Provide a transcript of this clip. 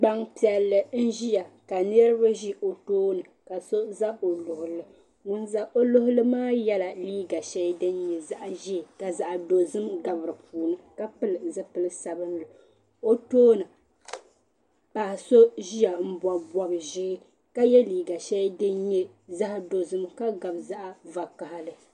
Gbampiɛlli n ʒia ka niriba ɖi o tooni ka so za o luɣuli ŋun za o luɣuli ma yela liiga sheli din nyɛ zaɣa ʒee ma dozim gabi dipuuni ka pili zipili sabinli o tooni paɣa so ʒia m pobi bob'ʒee ka ye liiga sheli din nyɛ zaɣa dozim ka nyɛ din gabi zaɣa vakahali.